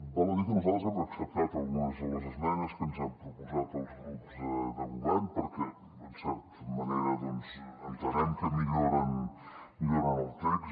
val a dir que nosaltres hem acceptat algunes de les esmenes que ens han proposat els grups de govern perquè en certa manera doncs entenem que milloren el text